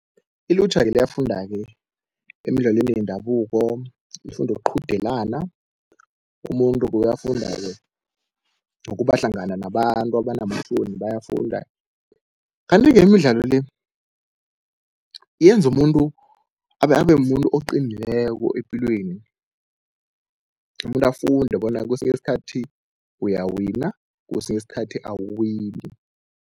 Ilutjha-ke liyafunda-ke emidlalweni yendabuko, lifunda ukuqhudelana, umuntu-ke uyafunda-ke ngokubahlangana nabantu, abanamahloni bayafunda. Kanti-ke imidlalo le yenza umuntu abe mumuntu oqinileko epilweni, umuntu afunde bona kesinye isikhathi uyawina kwesinye isikhathi awuwini.